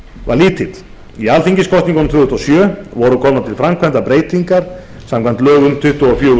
var lítill í alþingiskosningunum tvö þúsund og sjö voru komnar til framkvæmda breytingar samkvæmt lögum númer tuttugu og fjögur